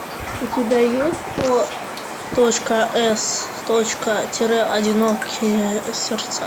у тебя есть о точка с точка тире одинокие сердца